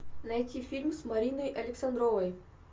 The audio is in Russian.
найти фильм с мариной александровой